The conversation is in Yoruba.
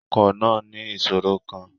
Ọkọ̀ náà ní ìṣòro kan.